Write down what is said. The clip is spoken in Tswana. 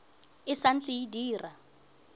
e sa ntse e dira